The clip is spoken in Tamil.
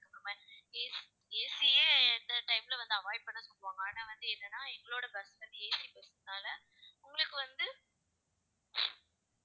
அதுக்கப்புறமா AC யே எந்த time ல வந்து, avoid பண்ண ஆனா வந்து என்னன்னா எங்களோட bus வந்து AC bus னால உங்களுக்கு வந்து